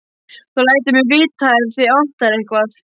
Þú lætur mig vita ef þig vantar eitthvað.